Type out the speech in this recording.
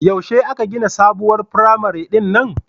Yaushe aka gina sabuwar firamare din nan